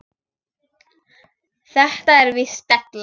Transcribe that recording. Þetta er víst della.